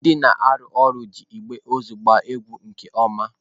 Ndị na-arụ ọrụ na-eji igbe ozu agba egwu nke ọma.